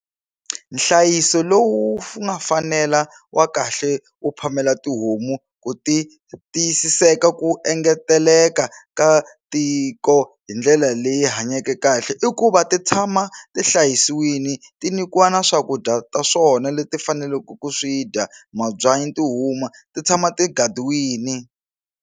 Nhlayiso lowu nga fanela wa kahle u phamela tihomu ku ti tiyisiseka ku engeteleka ka tiko hi ndlela leyi hanyeke kahle i ku va ti tshama ti hlayisiwile ti nikiwa na swakudya ta swona leti faneleke ku swi dya mabyanyi ti huma ti tshama ti gadiwini.